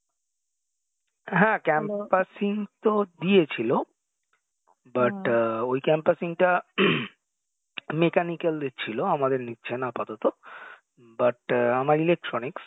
হ্যাঁ campusing তো দিয়েছিলো but ওই campusing টা mechanical ডের ছিল আমাদের নিচ্ছেনা আপাতত, but আমার electronics